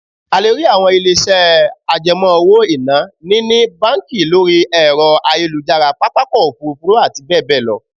A lè rí àwọn ilé-iṣẹ́ àjẹmọ́ owó-ìná ni ní, báńkì, lọ́rí ẹ̀rọ ayélujára, pápákọ̀ òfuurufú àti bẹ́ẹ̀ bẹ́ẹ̀ lọ